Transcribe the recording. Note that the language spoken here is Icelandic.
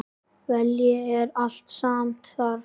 Vilji er allt sem þarf